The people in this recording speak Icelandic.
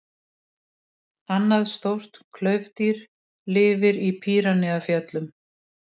Annað stórt klaufdýr lifir í Pýreneafjöllum.